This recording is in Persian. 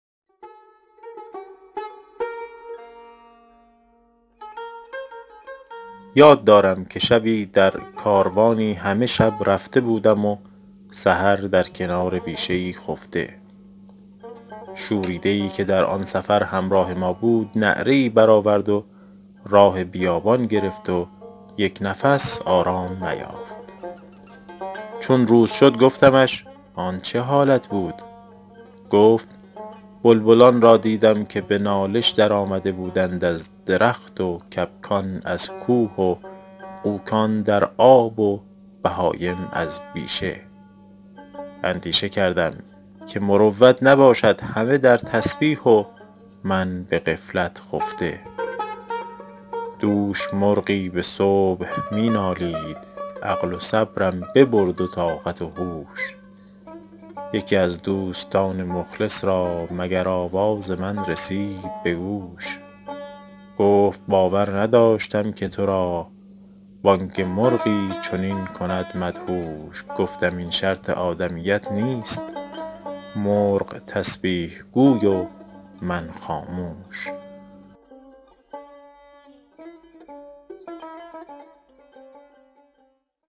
یاد دارم که شبی در کاروانی همه شب رفته بودم و سحر در کنار بیشه ای خفته شوریده ای که در آن سفر همراه ما بود نعره ای برآورد و راه بیابان گرفت و یک نفس آرام نیافت چون روز شد گفتمش آن چه حالت بود گفت بلبلان را دیدم که به نالش در آمده بودند از درخت و کبکان از کوه و غوکان در آب و بهایم از بیشه اندیشه کردم که مروت نباشد همه در تسبیح و من به غفلت خفته دوش مرغی به صبح می نالید عقل و صبرم ببرد و طاقت و هوش یکی از دوستان مخلص را مگر آواز من رسید به گوش گفت باور نداشتم که تو را بانگ مرغی چنین کند مدهوش گفتم این شرط آدمیت نیست مرغ تسبیح گوی و من خاموش